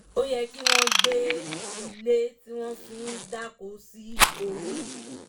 ó yẹ kí wọ́n gbé ilé tí wọ́n fi dáko sí orí